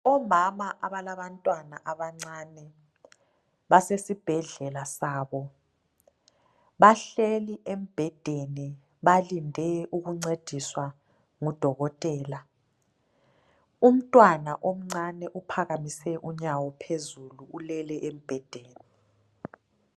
Omama abalabantwana abancane basesibhedlela sabo bahleli embhedeni balinde ukuncediswa ngudokotela. Umntwana omncane uphakamise unyawo phezulu ulele embhedeni.